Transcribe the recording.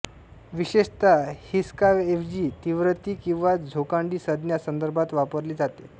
विशेषतः हिसकाऐवजी तीव्रती किंवा झोकांडी संज्ञा संदर्भात वापरली जाते